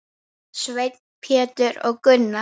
Sveinn, Pétur og Gunnar.